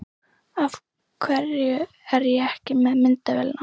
Af hverju er ég ekki með myndavélina?